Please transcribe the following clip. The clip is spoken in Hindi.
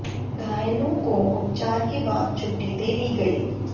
घायलों को उपचार के बाद छुट्टी दे दी गई